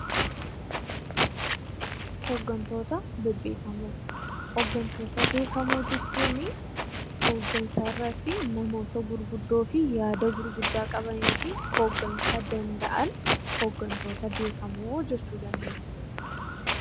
Hooggantoota bebbeekamoo Hooggantoota bebbeekamoo jechuun hooggansa irratti namoota gurguddoo fi yaada qabanii fi hooggansa danda'an hooggantoota beekamoo jedhamu.